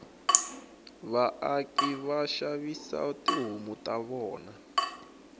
vaaki vashavisa tihhomu tavona